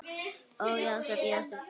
Ó, Jósep, Jósep, galar Árný.